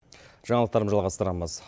жаңалықтарды жалғастырамыз